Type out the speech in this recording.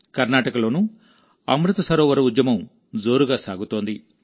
కర్ణాటకలోనూ అమృత్ సరోవర్ ఉద్యమం జోరుగా సాగుతోంది